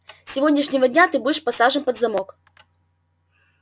с сегодняшнего дня ты будешь посажен под замок